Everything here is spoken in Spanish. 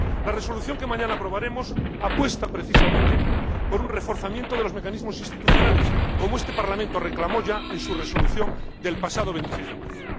La resolución que mañana aprobaremos apuesta, precisamente, por un reforzamiento de los mecanismos institucionales, como este Parlamento reclamó ya en su resolución del pasado 26 de marzo.